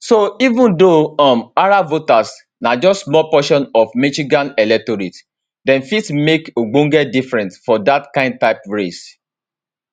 so even though um arab voters na just small portion of michigan electorate dem fit make ogbonge difference for dat kain type race